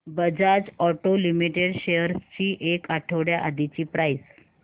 Bajaj auto limited शेअर्स ची एक आठवड्या आधीची प्राइस